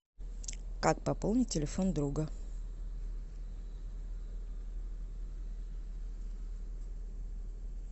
как пополнить телефон друга